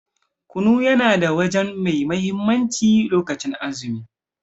Kunu yana da waje mai mahimmanci lokacin azumi.